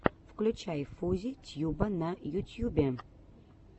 включай фузи тьюба на ютьюбе